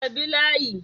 Ka bi layi